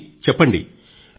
హరీ చెప్పండి